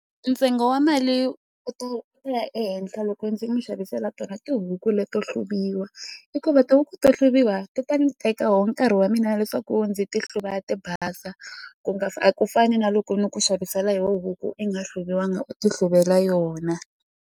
Ntsengo wa mali u ta u ta ya ehenhla loko ndzi n'wi xavisela tona tihuku leto hluriwa hikuva tihuku to hluriwa ti ta ni teka wo nkarhi wa mina leswaku ndzi ti hluva ti basa ku nga a ku fani na loko ni ku xavisela yo huku i nga hluviwanga u tihluvela yona.